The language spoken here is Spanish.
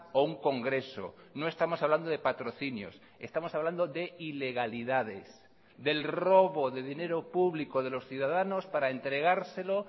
o un congreso no estamos hablando de patrocinios estamos hablando de ilegalidades del robo de dinero público de los ciudadanos para entregárselo